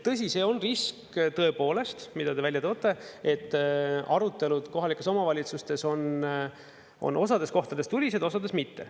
Tõsi, see on risk, tõepoolest, mida te välja toote, et arutelud kohalikes omavalitsustes on osades kohtades tuliseid, osades mitte.